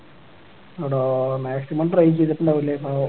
എടാ maximum try ചെയ്‌തിട്ടുണ്ടാകുംല്ലേ പാവം